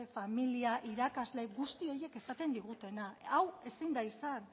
familia irakasle guzti horiek esaten digutena hau ezin da izan